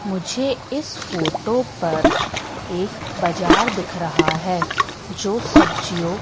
मुझे इस फोटो पर एक बजार देख रहा है जो सब्जियों--